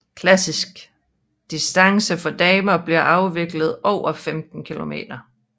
Klassisk distance for damer bliver afviklet over 15 km